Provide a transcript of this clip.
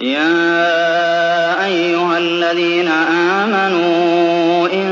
يَا أَيُّهَا الَّذِينَ آمَنُوا إِن